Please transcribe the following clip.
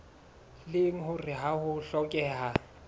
leng hore ha ho hlokehe